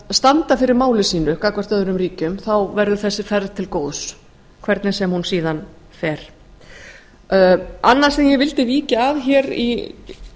standa fyrir máli sínu gagnvart öðrum ríkjum verður þessi ferð til góðs hvernig sem hún síðan fer annað sem ég vildi víkja að